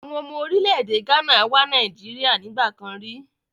Àwọn ọmọ orílẹ̀-èdè Ghana wá Nàìjíríà nígbà kan rí.